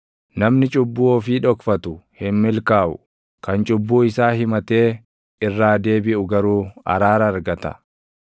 Namni cubbuu ofii dhokfatu hin milkaaʼu; kan cubbuu isaa himatee irraa deebiʼu garuu araara argata.